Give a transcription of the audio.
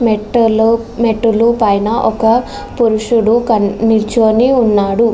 మెట్టెలు మెట్ల పైన ఒక పురుషుడు నుంచుని ఉన్నాడు.